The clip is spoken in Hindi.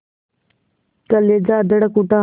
कलेजा धड़क उठा